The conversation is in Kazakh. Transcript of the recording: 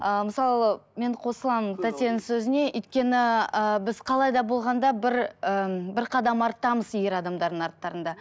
ыыы мысалы мен қосыламын тәтенің сөзіне өйткені ы біз қалай да болған да бір ы бір қадам арттамыз ер адамдардың арттарында